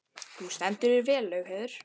Þú stendur þig vel, Laugheiður!